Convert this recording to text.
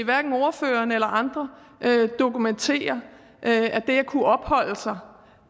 ordføreren eller andre dokumentere at det at kunne opholde sig